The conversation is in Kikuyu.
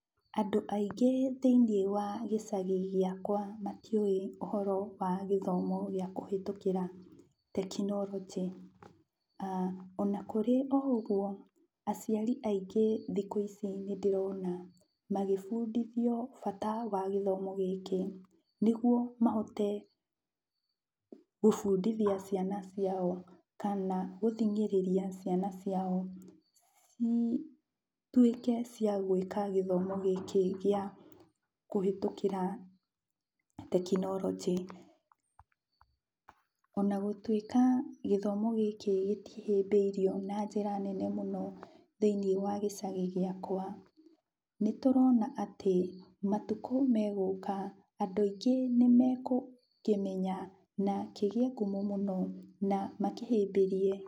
Andũ aingĩ thĩiniĩ wa gĩcagi gĩakwa matiũĩ ũhoro wa gĩthomo gĩa kũhĩtũkĩra tekinoronjĩ. Ona kũrĩ o ũguo, aciari aingĩ thikũ ici nĩndĩrona magĩbundithio bata wa gĩthomo gĩkĩ, nĩguo mahote kũbundithia ciana ciao kana gũthingĩrĩria ciana ciao cituĩke cia gwĩka gĩthomo gĩkĩ gĩa kũhĩtũkĩra tekinoronjĩ. Ona gũtuĩka gĩthomo gĩkĩ gĩtihĩmbĩirio na njĩra nene mũno thĩiniĩ wa gĩcagi gĩakwa, nĩtũrona atĩ matukũ megũka andũ aingĩ nĩmegũkĩmenya na kĩgĩe ngumo mũno na makĩhĩmbĩrie.